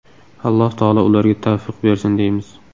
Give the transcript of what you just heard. Alloh taolo ularga tavfiq bersin deymiz”.